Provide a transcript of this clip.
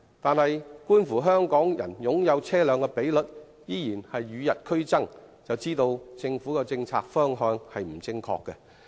然而，觀乎香港人擁有車輛的比率依然與日俱增，便知道政府的政策方向並不正確。